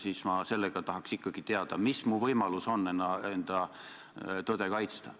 ... siis ma tahaks ikkagi teada, mis on mu võimalus enda tõde kaitsta.